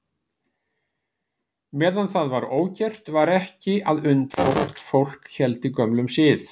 Meðan það var ógert var ekki að undra þótt fólk héldi gömlum sið.